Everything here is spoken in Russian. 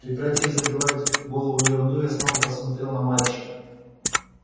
прекратив забивать голову ерундой я снова посмотрел на мальчика